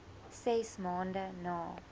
ses maande na